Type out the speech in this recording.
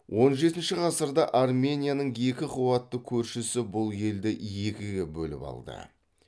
он жетінші ғасырда арменияның екі қуатты көршісі бұл елді екіге бөліл алды